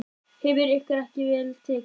Hefur ykkur ekki verið vel tekið?